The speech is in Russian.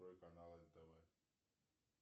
открой канал нтв